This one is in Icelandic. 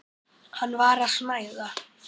Hann var að snæða.